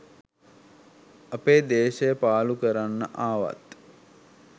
අපේ දේශයපාලු කරන්න ආවත්